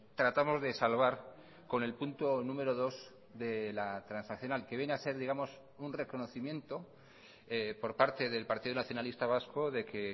tratamos de salvar con el punto número dos de la transaccional que viene a ser digamos un reconocimiento por parte del partido nacionalista vasco de que